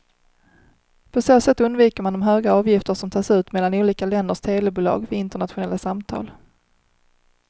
På så sätt undviker man de höga avgifter som tas ut mellan olika länders telebolag vid internationella samtal.